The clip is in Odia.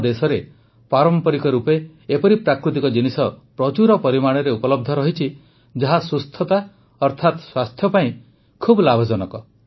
ଆମ ଦେଶରେ ପାରମ୍ପରିକ ରୂପେ ଏପରି ପ୍ରାକୃତିକ ଜିନିଷ ପ୍ରଚୁର ପରିମାଣରେ ଉପଲବ୍ଧ ଅଛି ଯାହା ସୁସ୍ଥତା ଅର୍ଥାତ ସ୍ୱାସ୍ଥ୍ୟ ପାଇଁ ବହୁତ ଲାଭଜନକ